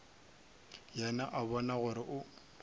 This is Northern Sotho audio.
yena o bona gore go